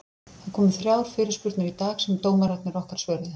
Það komu þrjár fyrirspurnir í dag sem dómararnir okkar svöruðu.